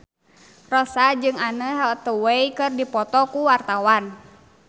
Rossa jeung Anne Hathaway keur dipoto ku wartawan